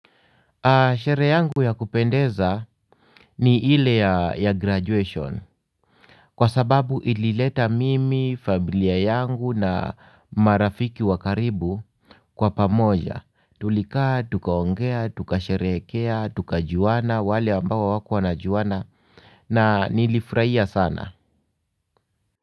Sherehe yangu ya kupendeza ni ile ya graduation. Kwa sababu ilileta mimi, familia yangu na marafiki wa karibu kwa pamoja. Tulikaa, tukaongea, tukasherehekea, tukajuana, wale ambao hawakuwa wanajuana na nilifurahia sana.